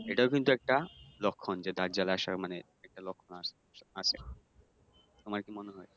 এটাও কিন্তু একটা লক্ষণ যে দাজ্জাল আসার মানে একটা লক্ষণ আসতেছে আসবে। তোমার কি মনে হয়?